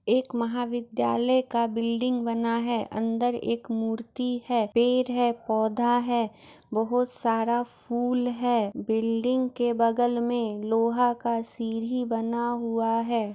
एक महाविद्यालय का बिल्डिंग बना है अंदर एक मूर्ति है पेड़ है पौधा है बहुत सारा फूल है बिल्डिंग के बगल में लोहा का सीढ़ी बना हुआ हैै।